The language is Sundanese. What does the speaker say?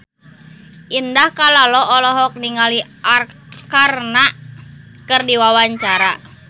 Indah Kalalo olohok ningali Arkarna keur diwawancara